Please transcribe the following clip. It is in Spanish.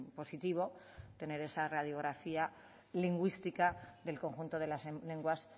positivo tener esa radiografía lingüística del conjunto de las lenguas